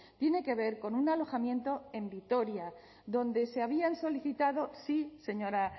tiene que ver con un alojamiento en vitoria donde se habían solicitado sí señora